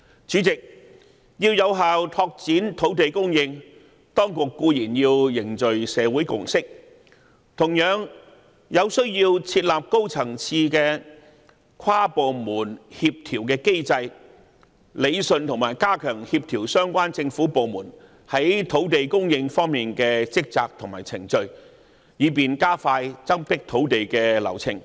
主席，要有效拓展土地供應，當局固然要凝聚社會共識，同時需要設立高層次跨部門協調機制，理順和加強協調相關政府部門在土地供應方面的職責和程序，以便加快增闢土地的流程。